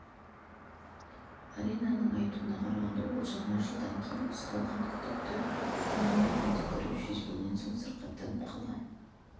аринаның айтуына қарағанда ол жаңа жылдан кейін ұсталған күдікті оның бетіне түкіріп жібергеннен соң сырқаттанып қалған